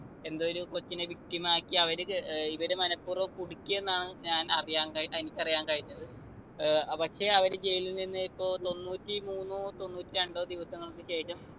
എന്തോരു കൊച്ചിനെ victim ആക്കി അവര് ഏർ ഇവര് മനപ്പൂർവം കുടുക്കിയെന്നാണ് ഞാൻ അറിയാൻ കഴി എനിക്കറിയാൻ കഴിഞ്ഞത് ഏർ പക്ഷെ അവര് ജയിലിൽ നിന്ന് ഇപ്പൊ തൊണ്ണൂറ്റി മൂന്നോ തൊണ്ണൂറ്റി രണ്ടോ ദിവസങ്ങൾക്ക് ശേഷം